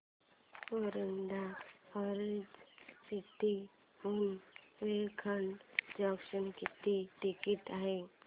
Warud orange city हून Narkhed junction किती ticket आहे